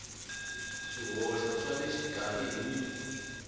swihoxo swa le xikarhi hi